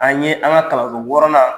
An ye an ka kalanso wɔɔrɔnan